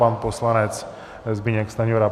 Pan poslanec Zbyněk Stanjura.